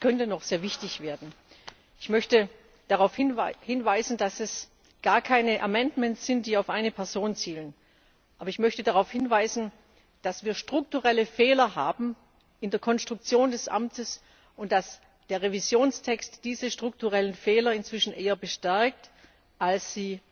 Es könnte noch sehr wichtig werden! Ich möchte darauf hinweisen, dass es gar keine amendments sind, die auf eine Person zielen, aber ich möchte darauf hinweisen, dass wir strukturelle Fehler in der Konstruktion des Amtes haben und dass der Revisionstext diese strukturellen Fehler inzwischen eher bestärkt